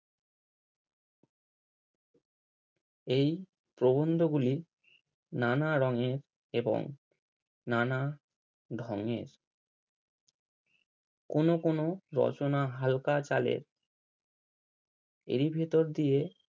এই প্রবন্ধ গুলি নানা রঙে এবং নানা ঢং এ কোনো কোনো রচনা হালকা চালে এরই ভেতর দিয়ে